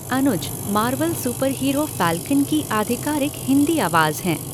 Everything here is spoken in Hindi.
अनुज मार्वल सुपरहीरो फ़ॉकन की आधिकारिक हिंदी आवाज़ हैं।